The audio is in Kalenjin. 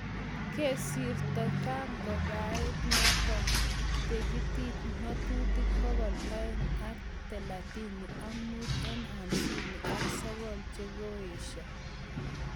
Kesirto kagaaipaet notok tetikap ng'atutik bokol aeng ak talatini ak muut eng' hamsini ak sokol chekaesho